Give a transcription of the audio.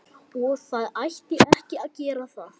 Og það ætti ekki að gera það.